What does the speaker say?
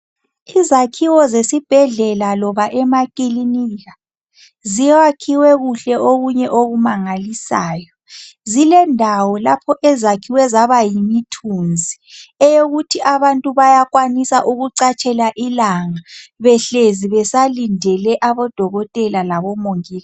Izakhiwo zesibhedlela loba emakilinika ziyakhiwe kuhle okunye okumangalisayo. Zilendawo lapho ezakhiwe zaba yimithunzi eyokuthi abantu bayakwanisa ukucatshela ilanga behlezi besalindele abodokotela labomongikazi.